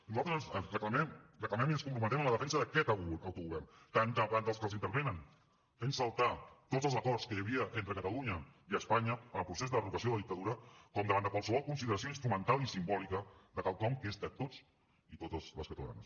nosaltres reclamem i ens comprometem en la defensa d’aquest autogovern tant davant dels que l’intervenen fent saltar tots els acords que hi havia entre catalunya i espanya en el procés d’enderrocament de la dictadura com davant de qualsevol consideració instrumental i simbòlica de quelcom que és de tots i totes les catalanes